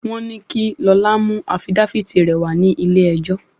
Wọ́n ní kí Lọlá mú afidáfítì rẹ̀ wá ní ilé ẹjọ́.